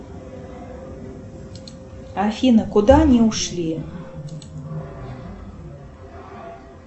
афина куда они ушли